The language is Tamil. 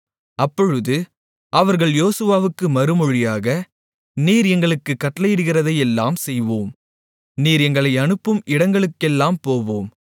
அப்பொழுது அவர்கள் யோசுவாவுக்கு மறுமொழியாக நீர் எங்களுக்குக் கட்டளையிடுகிறதையெல்லாம் செய்வோம் நீர் எங்களை அனுப்பும் இடங்களுக்கெல்லாம் போவோம்